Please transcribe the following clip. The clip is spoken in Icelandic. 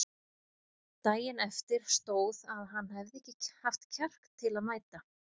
Daginn eftir stóð að hann hefði ekki haft kjark til að mæta.